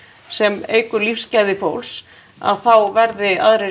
sem eykur lífsgæði fólks að þá verði aðrir